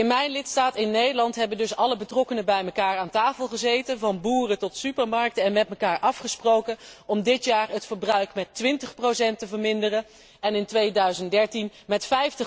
In mijn lidstaat, in Nederland, hebben dus alle betrokkenen bij elkaar aan tafel gezeten, van boeren tot supermarkten, en met elkaar afgesproken om dit jaar het verbruik met 20 te verminderen en in 2013 met